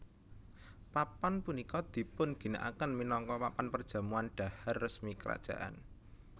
Papan punika dipun ginakaken minangka papan perjamuan dhahar resmi kerajaan